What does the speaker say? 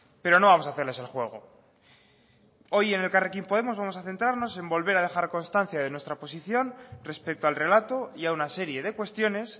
pero no vamos a hacerles el juego hoy en elkarrekin podemos vamos a centrarnos en volver a dejar constancia de nuestra posición respecto al relato y a una serie de cuestiones